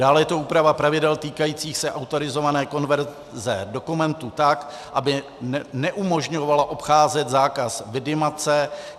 Dále je to úprava pravidel týkajících se autorizované konverze dokumentů tak, aby neumožňovala obcházet zákaz vidimace.